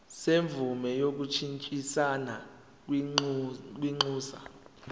semvume yokushintshisana kwinxusa